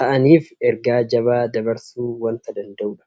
taa'aniif ergaa jabaa dabarsuu waanta danda'udha.